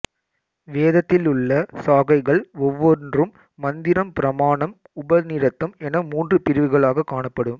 வேதத்திலுள்ள சாகைகள் ஒவ்வொன்றும் மந்திரம் பிராமணம் உபநிடதம் என மூன்று பிரிவுகளாகக் காணப்படும்